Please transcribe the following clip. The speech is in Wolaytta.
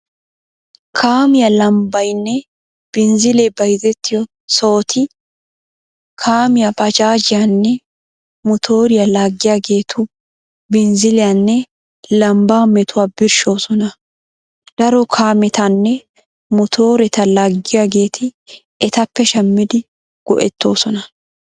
Kaamiyaa lambbaynne binzzilee bayzettiyo sohoti kaamiyaa, baajaajiyaanne motoriyaa laaggiyageetu binzziliyaanne lambbaa metuwaa birshshoosona. Daro kaametanne motoreta laaggiyageeti etappe shammidi go'ettoosona.